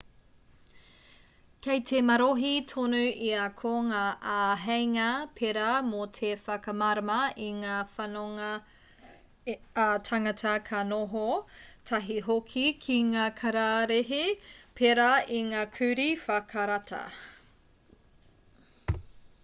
kei te marohi tonu ia ko ngā āheinga pērā mō te whakamārama i ngā whanonga ā-tāngata ka noho tahi hoki ki ngā kararehe pērā i ngā kurī whakarata